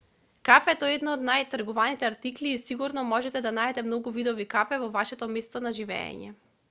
кафето е еден од најтргуваните артикли и сигурно можете да најдете многу видови кафе во вашето место на живеење